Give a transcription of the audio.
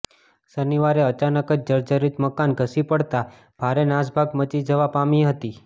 શનિવારે અચાનક જ આ જર્જરિત મકાન ધસી પડતાં ભારે નાસભાગ મચી જવા પામી હતી